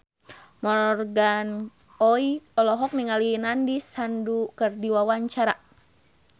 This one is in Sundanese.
Morgan Oey olohok ningali Nandish Sandhu keur diwawancara